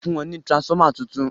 fún wón ní transformer títún